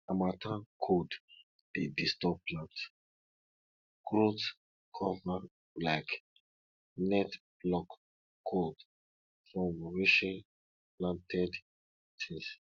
harmattan cold dey disturb plant growthcover like net block cold from reaching planted things